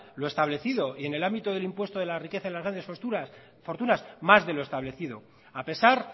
lo establecido y en el ámbito del impuesto de la riqueza en las grandes fortunas más de lo establecido a pesar